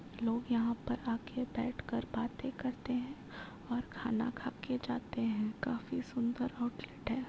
लोग यहाँ पर आके बैठ कर बातें करते हैं और खाना खाके जाते हैं। काफी सुंदर होटल है।